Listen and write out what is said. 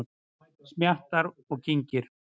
Smjattar og kyngir.